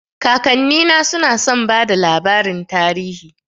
Kakannina suna son bada labarin tarihi